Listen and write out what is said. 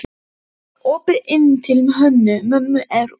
Það var opið inn til Hönnu-Mömmu úr eldhúsinu.